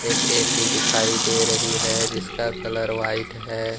एक A C दिखाई दे रही हैजिसका कलर व्हाइट है।